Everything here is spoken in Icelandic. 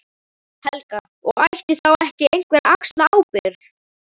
Helga: Og ætti þá ekki einhver að axla ábyrgð?